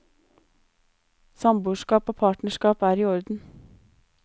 Samboerskap og partnerskap er i orden.